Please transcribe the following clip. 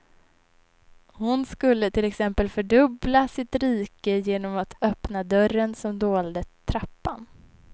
Hon skulle till exempel fördubbla sitt rike genom att öppna dörren som dolde trappan.